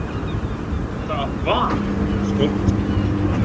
Þetta var stórkostlegt